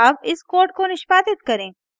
अब इस code को निष्पादित करें